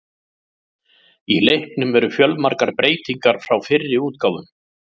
Í leiknum eru fjölmargar breytingar frá fyrri útgáfum.